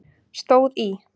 stóð í